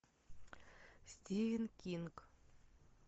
стивен кинг